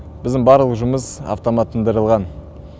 біздің барлық жұмыс автоматтандырылған